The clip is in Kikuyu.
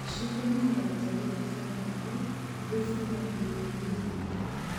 Citũmĩkaga gũthondeka saradi ,thubu ,na irioinĩ ingĩ .